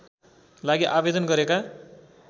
लागि आवेदन गरेका